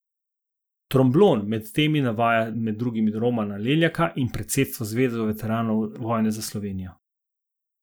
Tromblon med temi navaja med drugimi Romana Leljaka in predsedstvo Zveze veteranov vojne za Slovenijo.